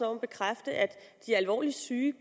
om at bekræfte at de alvorligt syge